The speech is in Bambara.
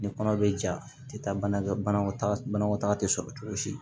Ni kɔnɔ bɛ ja a tɛ taa bana kɛ banakɔtaga banakɔtaga tɛ sɔrɔ cogo si